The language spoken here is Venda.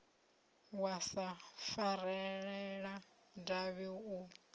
wa sa farelela davhi u